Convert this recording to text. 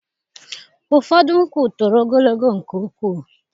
Ụfọdụ nkwụ toro ogologo nke ukwuu.